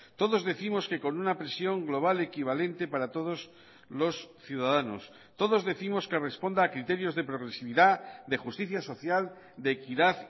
todos décimos que con una presión global equivalente para todos los ciudadanos todos décimos que responda a criterios de progresividad de justicia social de equidad